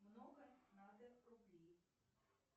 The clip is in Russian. много надо рублей